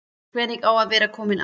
Hvernig er að vera kominn aftur?